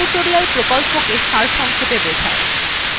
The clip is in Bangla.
এটি spoken tutorial প্রকল্পকে সারসংক্ষেপে বোঝায়